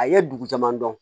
A ye dugu caman dɔn